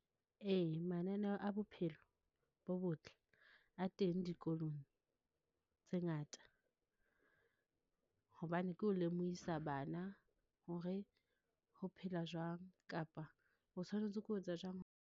Ee, mananeo a bophelo bo botle a teng dikolong tse ngata, hobane ke ho lemohisa bana hore ho phela jwang kapa, o tshwanetse ke ho etsa jwang.